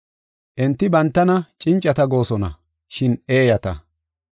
Enti bantana cincata goosona, shin eeyata.